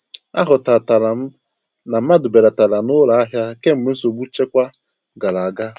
A hụtatara m na mmadụ belatara n'ụlọ ahia kemgbe nsogbu nchekwa gara aga.